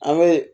An be